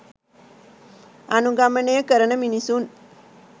අනුගමනය කරන මිනිසුන්